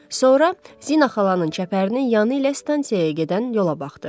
Sonra Zinə xalanın çəpərinin yanı ilə stansiyaya gedən yola baxdı.